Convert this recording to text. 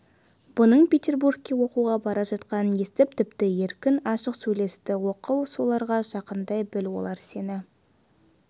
бұның петербургке оқуға бара жатқанын естіп тіпті еркін ашық сөйлесті оқы соларға жақындай біл олар сені